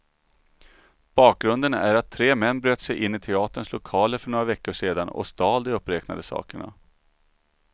Bakgrunden är att tre män bröt sig in i teaterns lokaler för några veckor sedan och stal de uppräknade sakerna.